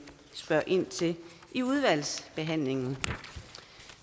spørge ind til i udvalgsbehandlingen